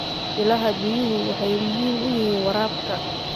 Ilaha biyuhu waxay muhiim u yihiin waraabka.